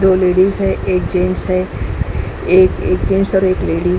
दो लेडीज हैं। एक जेंट्स है। एक जेंट्स और एक लेडीज --